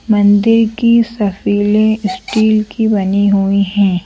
मंदिर की सफीलें स्टील की बनी हुई हैं ।